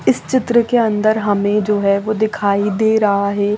इस चित्र के अन्दर हमें जो है वो दिखाई दे रहा है।